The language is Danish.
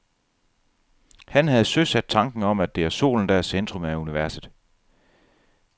Han havde søsat tanken om, at det er solen, der er i centrum af universet.